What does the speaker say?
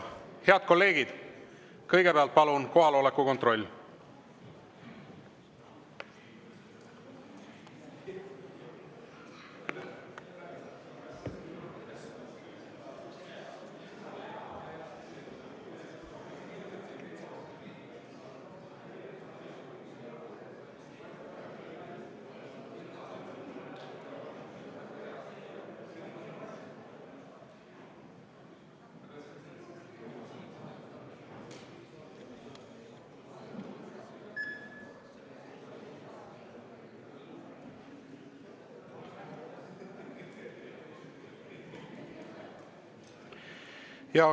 Head kolleegid, kõigepealt palun kohaloleku kontroll!